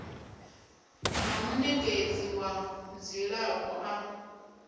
na munekedzi wa dzilafho a